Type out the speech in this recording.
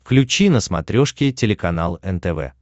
включи на смотрешке телеканал нтв